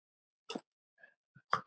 Ég fer ríkari frá þeim.